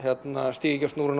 stíga ekki á snúruna